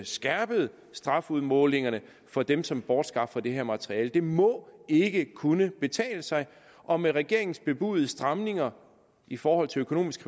skærpet strafudmålingerne for dem som bortskaffer det her materiale det må ikke kunne betale sig og med regeringens bebudede stramninger i forhold til økonomisk